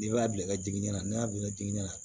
N'i b'a bila i ka jinana ni y'a bila jiginɛ na